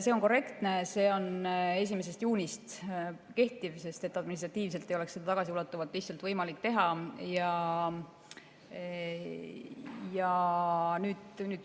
See on korrektne, et see kehtib 1. juunist, sest et administratiivselt ei oleks seda tagasiulatuvalt lihtsalt võimalik teha.